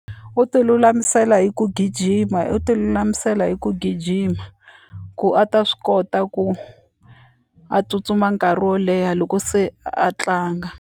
U ti lulamisela hi ku gijima u ti lulamisela hi ku gijima ku a ta swi kota ku a tsutsuma nkarhi wo leha loko se a tlanga.